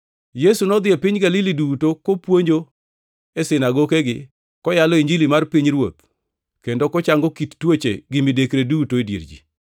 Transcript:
Yesu nodhi e piny Galili duto, kopuonjo e sinagokegi, koyalo Injili mar pinyruoth kendo kochango kit tuoche gi midekre duto e dier ji.